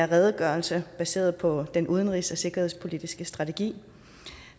redegørelse baseret på den udenrigs og sikkerhedspolitiske strategi